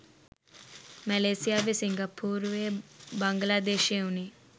මැලේසියාවේ සින්ගපොරුවේ බන්ගලොදේශයේ උනේ